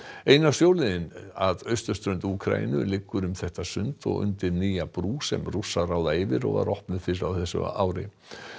eina sjóleiðin að austurströnd Úkraínu liggur um þetta sund og undir nýja brú sem Rússar ráða yfir og opnuð var fyrr á þessu ári